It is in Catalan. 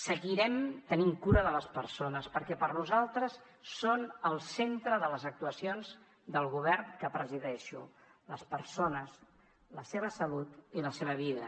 seguirem tenint cura de les persones perquè per nosaltres són el centre de les actuacions del govern que presideixo les persones la seva salut i la seva vida